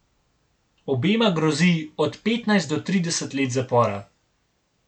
Obema grozi od petnajst do trideset let zapora.